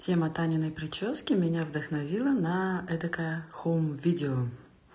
тема таниной причёски меня вдохновило на этокое хоум видео